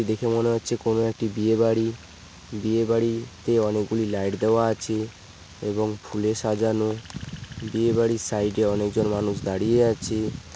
দেখে মনে হচ্ছে কোন একটি বিয়ে বাড়ি বিয়ে বাড়ি তে অনেকগুলি লাইট দেওয়া আছে এবং ফুলে সাজানো বিয়ে বাড়ির সাইডে অনেকজন মানুষ দাঁড়িয়ে আছে।